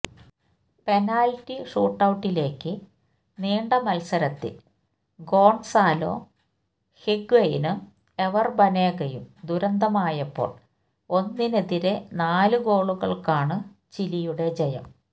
penalty ഷൂട്ടൌട്ടിലേക്കു നീണ്ട മത്സരത്തിൽ ഗോൺസാലോ ഹിഗ്വയ്നും എവർ ബനേഗയും ദുരന്തമായപ്പോൾ ഒന്നിനെതിരെ നാലു ഗോളുകൾക്കാണ് ചിലിയുടെ ജയം